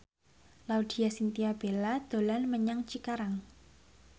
Laudya Chintya Bella dolan menyang Cikarang